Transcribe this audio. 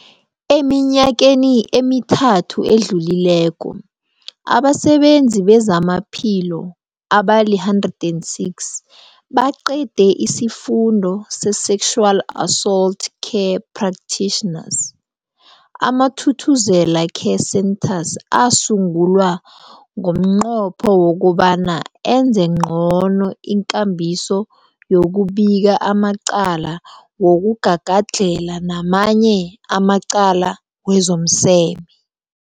Eminyakeni emithathu edluleko, abasebenzi bezamaphilo abali-106 baqede isiFundo se-Sexual Assault Care Practitioners. AmaThuthuzela Care Centres asungulwa ngomnqopho wokobana enze ngcono ikambiso yokubika amacala wokugagadlhela namanye amacala wezomseme.